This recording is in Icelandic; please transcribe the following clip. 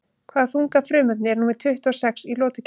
Hvaða þunga frumefni er númer tuttugu og sex í lotukerfinu?